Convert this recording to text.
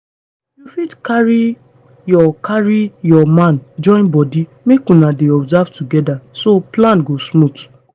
you fit carry your carry your man join body make una dey observe together so plan go smooth.